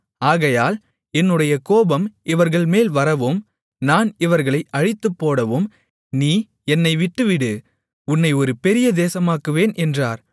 ஆகையால் என்னுடைய கோபம் இவர்கள்மேல் வரவும் நான் இவர்களை அழித்துப்போடவும் நீ என்னை விட்டுவிடு உன்னை ஒரு பெரிய தேசமாக்குவேன் என்றார்